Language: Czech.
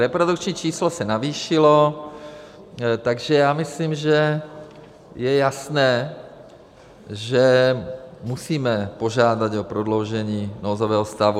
Reprodukční číslo se zvýšilo, takže já myslím, že je jasné, že musíme požádat o prodloužení nouzového stavu.